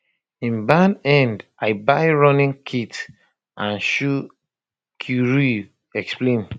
im ban end i buy running kit and shoes kirui explain